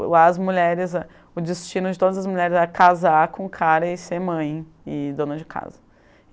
lá as mulheres, o destino de todas as mulheres era casar com o cara e ser mãe e dona de casa.